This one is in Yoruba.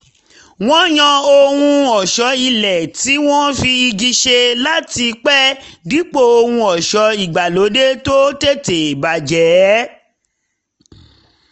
wọ́n yàn ohun ọ̀ṣọ́ ilé tí wọ́n fi igi ṣe láti pẹ́ dípò ohun ọ̀ṣọ́ ìgbàlóde tó tètè bàjẹ́